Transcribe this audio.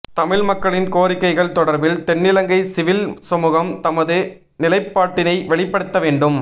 தமிழ் மக்களின் கோரிக்கைகள் தொடர்பில் தென்னிலங்கை சிவில் சமுகம் தமது நிலைப்பாட்டினை வெளிபடுத்த வேண்டும்